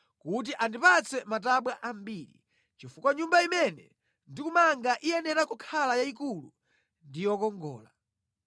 kuti andipatse matabwa ambiri, chifukwa Nyumba imene ndikumanga iyenera kukhala yayikulu ndi yokongola.